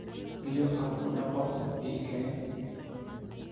Biyo aan ku dhaqo ii keen.